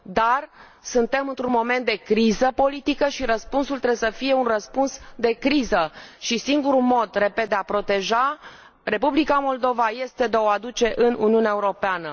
Dar, suntem într un moment de criză politică și răspunsul trebuie să fie un răspuns de criză și singurul mod, repet, de a proteja Republica Moldova, este de a o aduce în Uniunea Europeană.